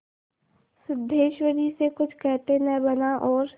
सिद्धेश्वरी से कुछ कहते न बना और